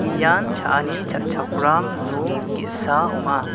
ian cha·ani cha·chakram nok ge·sa ong·a.